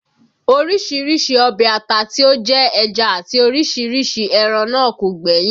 Orísìírísìí ọbẹ̀ ata tí ó jẹ́ ẹja àti orísìírísìí ẹran náà kò gbẹ́yìn